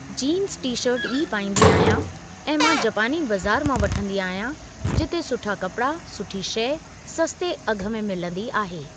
Jeans T shirt ई पाईंदी आहियां ऐं मां जपानी बज़ारि मां वठंदी आहियां जिते सुठा कपिड़ा सुठी शइ सस्ते अघु में मिलंदी आहे।